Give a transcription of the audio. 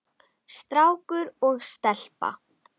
Strákur og stelpa.